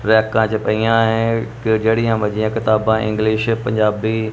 ਰੈਕਾਂ ਚ ਪਈਆਂ ਹੈ ਜਿਹੜੀਆਂ ਮਰਜ਼ੀ ਕਿਤਾਬਾਂ ਇੰਗਲਿਸ਼ ਪੰਜਾਬੀ --